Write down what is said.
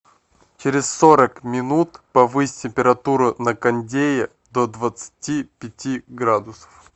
через сорок минут повысь температуру на кондее до двадцати пяти градусов